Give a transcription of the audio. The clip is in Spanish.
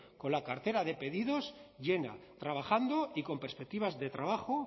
con la cartera de pedidos llena trabajando y con perspectivas de trabajo